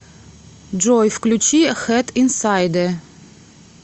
джой включи хэд инсайдэ